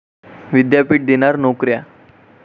विद्यापीठ देणार नोकऱ्या